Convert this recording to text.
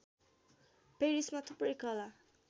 पेरिसमा थुप्रै कला